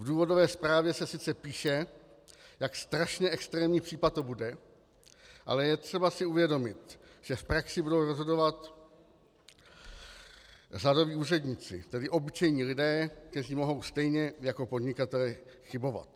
V důvodové zprávě se sice píše, jak strašně extrémní případ to bude, ale je třeba si uvědomit, že v praxi budou rozhodovat řadoví úředníci, tedy obyčejní lidé, kteří mohou stejně jako podnikatelé chybovat.